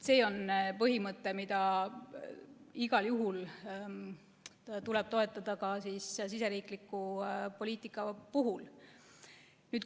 See on põhimõte, mida igal juhul tuleb toetada ka riigisisese poliitika puhul.